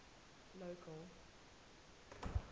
local